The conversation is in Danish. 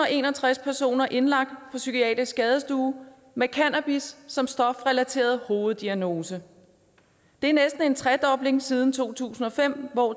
en og tres personer indlagt på psykiatrisk skadestue med cannabis som stofrelateret hoveddiagnose det er næsten en tredobling siden to tusind og fem